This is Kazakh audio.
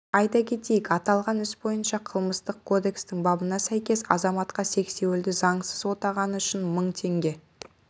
айта кетейік аталған іс бойынша қылмыстық кодекстің бабына сәйкес азаматқа сексеуілді заңсыз отағаны үшін мың теңге